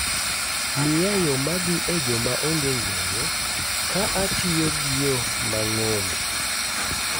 Miya yo ma dhi e joma onge ng'eyo ka atiyo gi yo ma ng'ombe